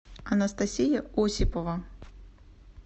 анастасия осипова